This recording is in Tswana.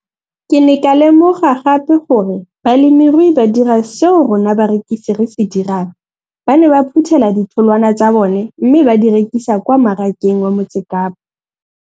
Ke ne ka lemoga gape gore balemirui ba dira seo rona barekisi re se dirang, ba ne ba phuthela ditholwana tsa bona mme ba di rekisa kwa marakeng wa Motsekapa.